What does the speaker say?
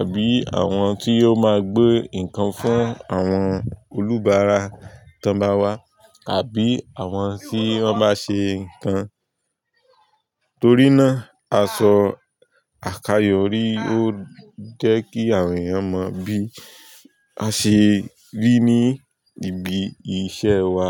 àbí àwọn tí ó máa gbé nǹkan fún àwọn olùbáara tó bá wá àbí àwọn tí wọ́n bá ṣe nǹkan. Torí náà aṣọ àkayò rí ó jẹ́ kí àwọn èèyàn mọ bí a ṣe rí ní ibi iṣẹ́ wa.